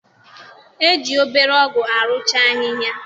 E ji obere ọgụ arụcha ahịhịa